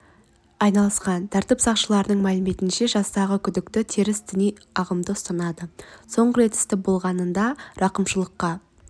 айналысқан тәртіп сақшыларының мәліметінше жастағы күдікті теріс діни ағымды ұстанады соңғы рет істі болғанда рақымшылыққа